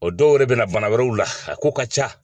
O dɔw yɛrɛ bɛ na bana wɛrɛw la, a kow ka ca.